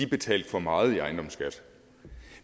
betalte for meget i ejendomsskat